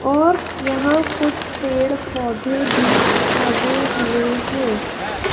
और यहां कुछ पेड़ पौधे भी लगे हुए है।